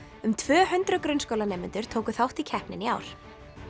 um tvö hundruð grunnskólanemendur tóku þátt í keppninni í ár